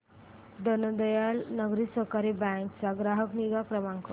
दीनदयाल नागरी सहकारी बँक चा ग्राहक निगा क्रमांक